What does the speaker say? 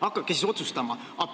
Hakake siis otsustama!